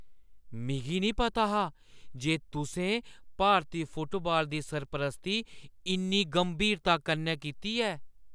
मिगी नेईं पता हा जे तुसें भारती फुटबाल दी सरपरस्ती इन्नी गंभीरता कन्नै कीती ऐ।